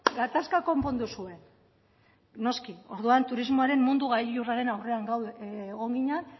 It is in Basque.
gatazka konpondu zuen noski orduan turismoaren mundu gailurraren aurrean egon ginen